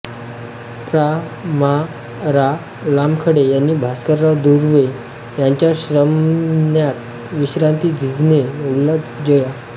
प्रा मा रा लामखडे यांनी भास्करराव दुर्वे यांच्यावर श्रमण्यातच विश्रांती झिजणे उल्हास जया